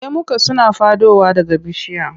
Lemuka suna faɗowa daga bishiya.